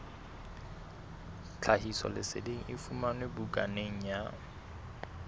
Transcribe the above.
tlhahisoleseding e fumanwe bukaneng ya